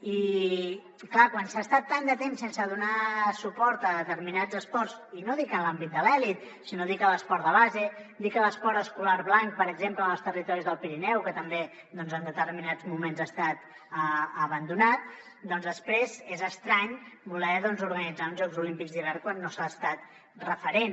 i clar quan s’ha estat tant de temps sense donar suport a determinats esports i no dic en l’àmbit de l’elit sinó dic en l’esport de base dic en l’esport escolar blanc per exemple en els territoris del pirineu que també doncs en determinats moments ha estat abandonat doncs després és estrany voler organitzar uns jocs olímpics d’hivern quan no s’ha estat referent